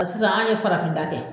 sisan an ye farafin ta kɛ.